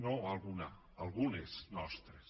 no alguna algunes nostres